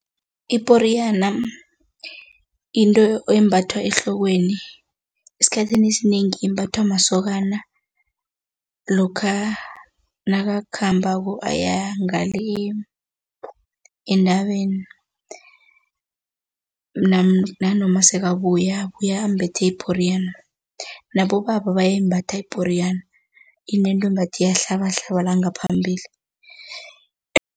Iporiyana into embathwa ehlokweni, esikhathini esinengi imbathwa masokana lokha nakakhambako aya ngale entabeni nanoma sekabuya, babuya bambethe iporiyana, nabobaba bayayimbatha iporiyana, inento ngathi iyahlababahlala la ngaphambili.